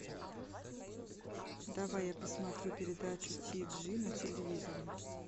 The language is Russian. давай я посмотрю передачу ти джи на телевизоре